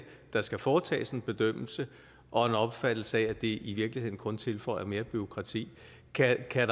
der skal foretages en bedømmelse og en opfattelse af at det i virkeligheden kun tilføjer mere bureaukrati kan der